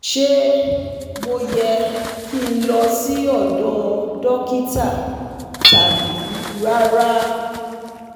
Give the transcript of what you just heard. Ṣé mo yẹ ki n lọ sí ọdọ́ dokita tabi rara?